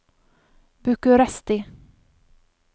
Bucuresti